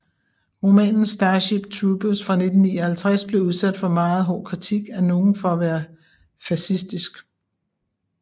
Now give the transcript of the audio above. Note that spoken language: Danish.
Romanen Starship Troopers fra 1959 blev udsat for meget hård kritik af nogle for at være fascistisk